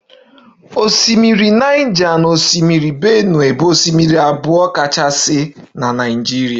Osimiri Niger na osimiri benue bụ osimiri abụọ kachasị na Naịjirịa